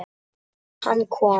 Og hann kom.